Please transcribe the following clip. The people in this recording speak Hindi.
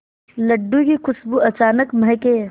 लड्डू की खुशबू अचानक महके